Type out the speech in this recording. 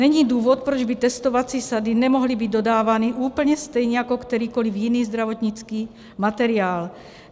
Není důvod, proč by testovací sady nemohly být dodávány úplně stejně jako kterýkoliv jiný zdravotnický materiál.